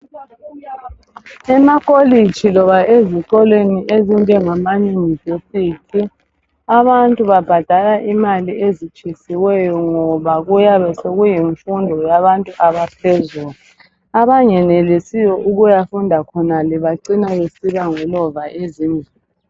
ema college loba ezikolwe ezinjengama university abantu babhadala imali ezitshisiweyo ngoba kuyabe sekulemfundo yabantu abaphezulu abeangenelisiyo ukuyafunda khonale bacina sebengolova ezindlini